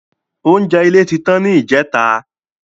Oúnjẹ ilé tí tán ni ìjẹta